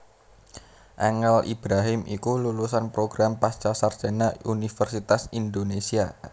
Angel Ibrahim iku lulusan program pascasarjana Universitas Indonésia